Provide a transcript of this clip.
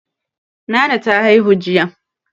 Nana ta haihu jiya.